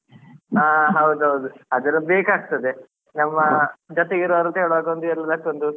ಹಾ ಹೌದು ಹೌದು ಅದೆಲ್ಲಾ ಬೇಕಾಗ್ತದೆ ನಮ್ಮ ಜೊತೆಗಿರುವವರುಂತ ಹೇಳುವಾಗ ಒಂದ್ ಅಷ್ಟೊಂದು